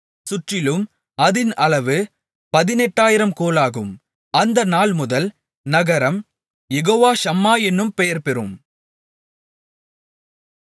சுற்றிலும் அதின் அளவு பதினெட்டாயிரம் கோலாகும் அந்த நாள்முதல் நகரம் யேகோவா ஷம்மா என்னும் பெயர்பெறும்